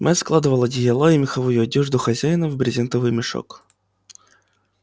мэтт складывал одеяла и меховую одежду хозяина в брезентовый мешок